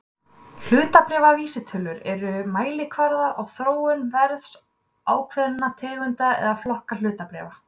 Hlutabréfavísitölur eru mælikvarðar á þróun verðs ákveðinna tegunda eða flokka hlutabréfa.